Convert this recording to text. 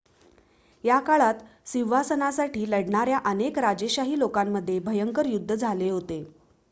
या काळात सिंहासनासाठी लढणाऱ्या अनेक राजेशाही लोकांमध्ये भयंकर युद्ध झाले होते